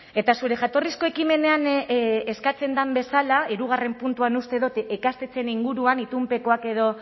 eta zure jatorrizko ekimenean eskatzen den bezala hirugarren puntuan uste dut ikastetxeen inguruan itunpekoak edo